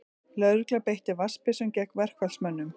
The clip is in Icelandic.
Lögregla beitti vatnsbyssum gegn verkfallsmönnum